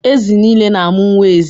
Ezi nile na-amụ nwa ezi.